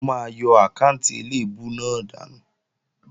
Mò máa yọ àkáànti eléèbú náà dànù